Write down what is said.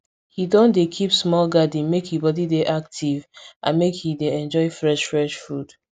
he don dey keep small garden make e body dey active and make him dey enjoy fresh fresh food